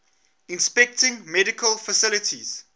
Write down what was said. inspecting medical facilities